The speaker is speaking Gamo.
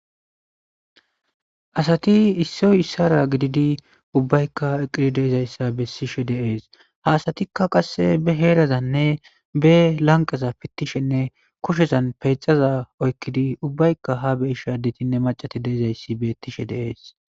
Asati issoy issara gididi ubbaykka eqidi deizayssa bessishe deees haasatikka qasse be heerazanne be lanqaza pittishenne koshezan peexaza oykkidi ubbaykka ha be ishe addetinne macati deezayssi beettishe deees.